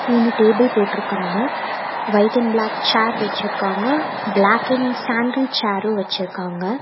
மூனு டேபிள் போட்ருக்காங்க white and black chair வெச்சிருக்காங்க பிளாக்கிங் சேன்டில் சேரூ வெச்சிருக்காங்க.